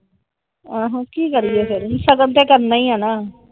ਆਹੋ ਕਿ ਕਰੀ ਇਹ ਫਿਰ ਸ਼ਗੁਨ ਤੇ ਕਰਨਾ ਏ ਆ ਹਣਾ ।